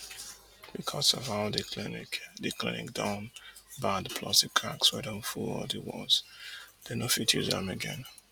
becos of how di clinic di clinic don bad plus di cracks wey don full di walls dem no fit use am again